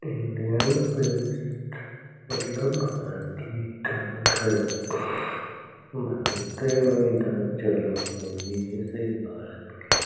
Indian post मतलब भारतीय डाक हेय भारते में इ डाक चालू हेय। ये सभी भारत के --